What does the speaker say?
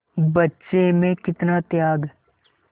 बच्चे में कितना त्याग